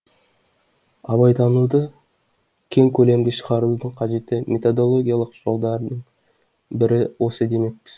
абайтануды кең көлемге шығарудың кажетті методологиялық жолдарының бірі осы демекпіз